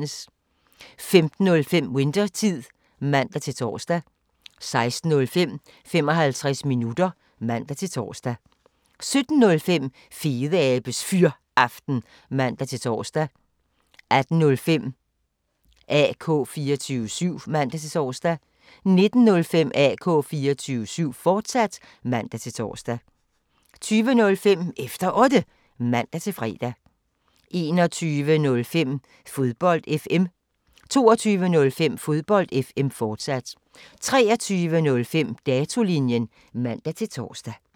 15:05: Winthertid (man-tor) 16:05: 55 minutter (man-tor) 17:05: Fedeabes Fyraften (man-tor) 18:05: AK 24syv (man-tor) 19:05: AK 24syv, fortsat (man-tor) 20:05: Efter Otte (man-fre) 21:05: Fodbold FM 22:05: Fodbold FM, fortsat 23:05: Datolinjen (man-tor)